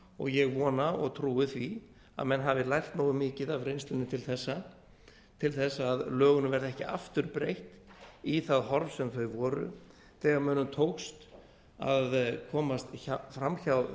og ég vona og trúi því að menn hafi lært nógu mikið af reynslunni til þessa til þess að lögunum verði ekki aftur breytt í það horf sem þau voru þegar mönnum tókst að komast fram hjá